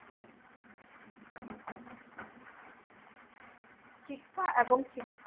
শিক্ষা এবং শিক্ষা